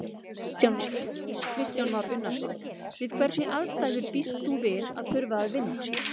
Kristján Már Unnarson: Við hvernig aðstæður býst þú við að þurfa að vinna?